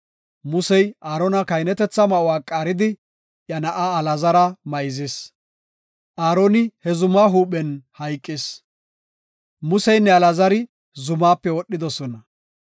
Musey Aarona kahinetetha ma7uwa qaaridi iya na7aa Alaazara mayzis. Aaroni he zuma huuphen hayqis. Museynne Alaazari zumaape wodhidosona.